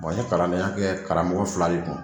n ɲe kalandenya kɛ karamɔgɔ fila de kun.